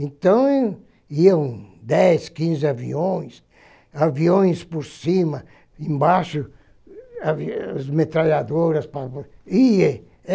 Então, iam dez, quinze aviões, aviões por cima, embaixo as metralhadoras